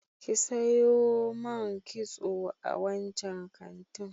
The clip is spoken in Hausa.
Ki sayo man kitso a wancan kantin.